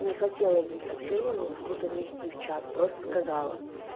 не хотела этим сообщениям что-то внести в чат просто сказала